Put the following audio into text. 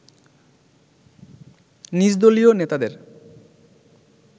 নিজ দলীয় নেতাদের